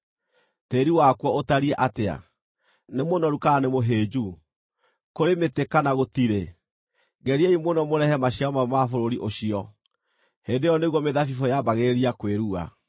Tĩĩri wakuo ũtariĩ atĩa? Nĩ mũnoru kana nĩ mũhĩnju? Kũrĩ mĩtĩ kana gũtirĩ? Geriai mũno mũrehe maciaro mamwe ma bũrũri ũcio.” (Hĩndĩ ĩyo nĩguo mĩthabibũ yaambagĩrĩria kwĩrua.)